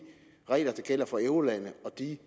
regler der gælder for eurolandene og de